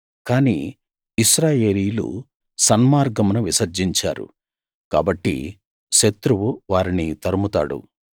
కానీ ఇశ్రాయేలీయులు సన్మార్గమును విసర్జించారు కాబట్టి శత్రువు వారిని తరుముతాడు